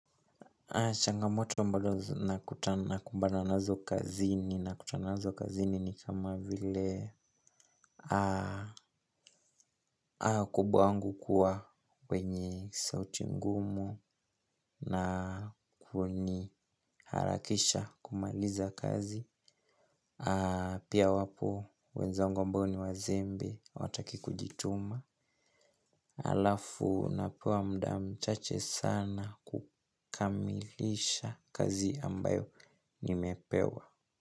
Changamoto mbazo nakutana nakumbana nazo kazini nakutana nazo kazini ni kama vile kubua wangu kuwa wenye sauti ngumu na kuni harakisha kumaliza kazi. Pia wapo wenzangu ambao ni wazembe hawataki kujituma. Alafu napewa mda mchache sana kukamilisha kazi ambayo nimepewa.